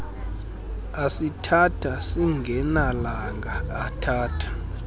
asithatha singanelanga athatha